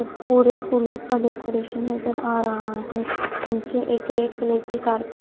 इस पूरे फूलों का डेकोरेशन नजर आ रहा है नीचे एक रेड कलर की कारपेट --